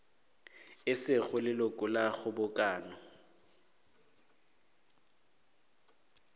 e sego leloko la kgobokano